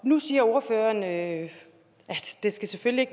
nu siger ordføreren at det selvfølgelig